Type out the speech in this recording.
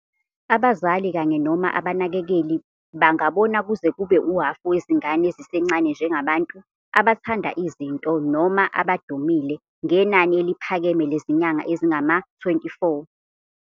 Abazali kanye noma abanakekeli bangabona kuze kube uhhafu wezingane ezisencane njengabantu "abathanda izinto" noma "abadumile", ngenani eliphakeme lezinyanga ezingama-24.